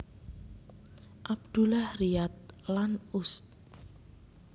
Abdullah Riyad lan Ust